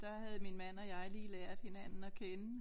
Der havde min mand og jeg lige lært hinanden at kende